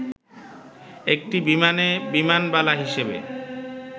একটি বিমানে বিমানবালা হিসেবে